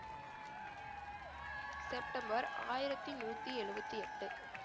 September ஆயிரத்தி நூத்தி எழுபத்தி எட்டு